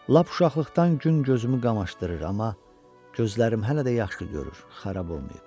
Lap uşaqlıqdan gün gözümü qamaşdırır, amma gözlərim hələ də yaxşı görür, xarab olmayıb.